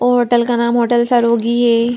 वो होटल का नाम होटल सरोगी है।